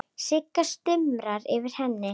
Sigga stumrar yfir henni.